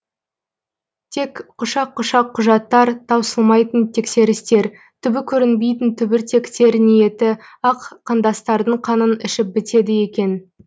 тек құшақ құшақ құжаттар таусылмайтын тексерістер түбі көрінбейтін түбіртектер ниеті ақ қандастардың қанын ішіп бітеді екен